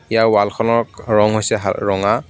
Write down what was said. ইয়াৰ wall খনৰ খ ৰং হৈছে হা ৰঙা.